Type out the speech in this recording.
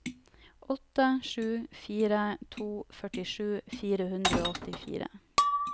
åtte sju fire to førtisju fire hundre og åttifire